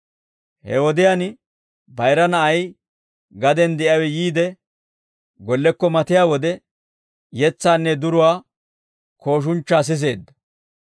«He wodiyaan, bayira na'ay gaden de'iyaawe yiide gollekko matiyaa wode, yetsaanne duruwaa kooshunchchaa siseedda.